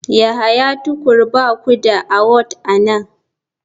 Yahya tukur ba ku da award a nan.